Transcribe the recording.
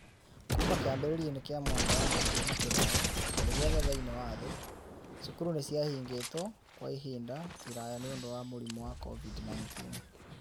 Kuuma kĩambĩrĩria-inĩ kĩa mwaka wa 2020, kũndũ guothe thĩinĩ wa thĩ, cukuru nĩ ciarigĩtwo kwa ihinda iraya nĩ ũndũ wa mũrimũ wa COVID-19.